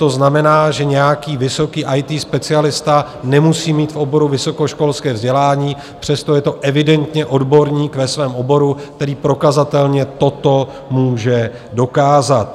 To znamená, že nějaký vysoký IT specialista nemusí mít v oboru vysokoškolské vzdělání, přesto je to evidentně odborník ve svém oboru, který prokazatelně toto může dokázat.